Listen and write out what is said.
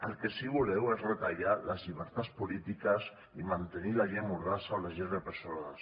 el que sí que voleu és retallar les llibertats polítiques i mantenir la llei mordassa o les lleis repressores